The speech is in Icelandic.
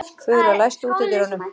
Fura, læstu útidyrunum.